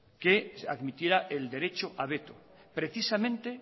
que admitiera el derecho a veto precisamente